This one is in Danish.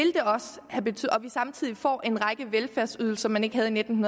samtidig får en række velfærdsydelser man ikke havde i nitten